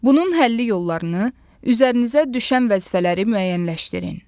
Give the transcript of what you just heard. Bunun həlli yollarını, üzərinizə düşən vəzifələri müəyyənləşdirin.